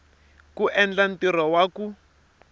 ku endla ntirho wa ku